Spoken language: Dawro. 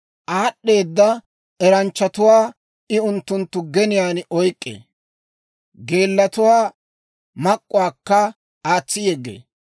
Aad'd'eeda eranchchatuwaa I unttunttu geniyaan oyk'k'ee; geellatuwaa mak'k'uwaakka aatsi yeggee.